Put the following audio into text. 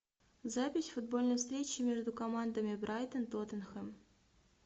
запись футбольной встречи между командами брайтон тоттенхэм